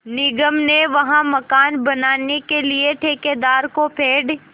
निगम ने वहाँ मकान बनाने के लिए ठेकेदार को पेड़